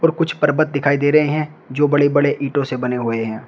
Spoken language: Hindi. कुछ पर्वत दिखाई दे रहे हैं जो बड़े बड़े ईंटों से बने हुए हैं।